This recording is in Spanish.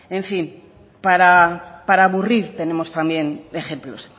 en fin para aburrir tenemos también ejemplos